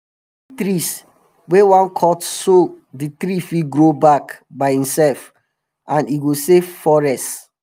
we dey pick trees wey wan cut so d tree fit grow back by imself and e go save forest